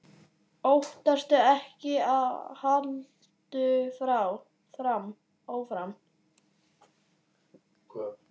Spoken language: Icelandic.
Óttastu ekki og haltu áfram!